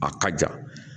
A ka ja